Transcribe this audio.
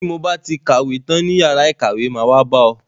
Ti mo ba ti kàwé tán ní yàrá ìkàwé, máa wá bá ọ.